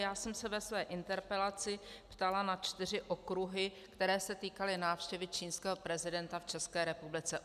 Já jsem se ve své interpelaci ptala na čtyři okruhy, které se týkaly návštěvy čínského prezidenta v České republice.